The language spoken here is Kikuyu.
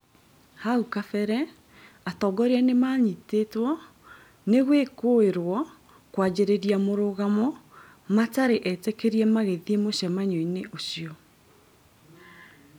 Haukabere atongoria nĩmanyitĩtwo nĩgwĩkũirwo kwanjĩrĩria mũrũngano matarĩ etĩkĩrie magĩthiĩ mũcemanio-inĩ ũcio